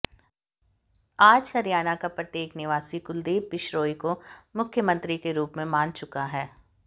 आज हरियाणा का प्रत्येक निवासी कुलदीप बिश्रोई को मुख्यमंत्री के रूप में मान चुका है